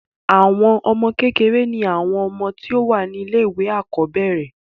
àwọn ọmọ kékèké ni àwọn ọmọ tí wọ́n wà ní ilé ìwé àkọ́bẹ̀rẹ̀